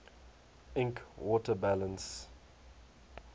ink water balance